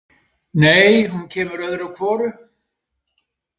Nei, hún kemur öðru hvoru.